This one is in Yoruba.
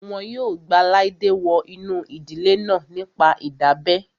Wọn yóò gba Laide wọ inú ìdílé náà nípa ìdábẹ́